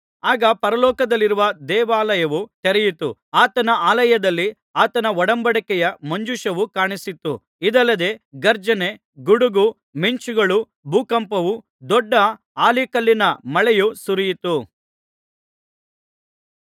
ಆಗ ಪರಲೋಕದಲ್ಲಿರುವ ದೇವಾಲಯವು ತೆರೆಯಿತು ಆತನ ಆಲಯದಲ್ಲಿ ಆತನ ಒಡಂಬಡಿಕೆಯ ಮಂಜೂಷವು ಕಾಣಿಸಿತು ಇದಲ್ಲದೆ ಗರ್ಜನೆ ಗುಡುಗು ಮಿಂಚುಗಳು ಭೂಕಂಪವು ದೊಡ್ಡ ಆಲಿಕಲ್ಲಿನ ಮಳೆಯೂ ಸುರಿಯಿತು